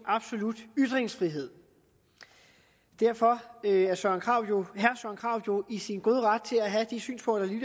absolut ytringsfrihed derfor er herre søren krarup jo i sin gode ret til at have de synspunkter der